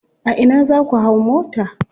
A ina za ku hau mota.